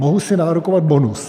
Mohu si nárokovat bonus?